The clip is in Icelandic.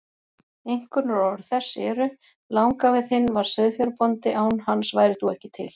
Einkunnarorð þess eru: Langafi þinn var sauðfjárbóndi, án hans værir þú ekki til.